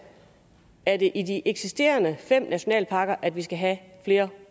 at det er i de eksisterende fem nationalparker at vi skal have flere